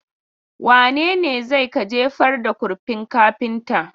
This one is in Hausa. Wane ne zai ka jefar da kurfin kafinta?